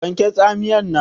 Wanke Tsamiyar nan!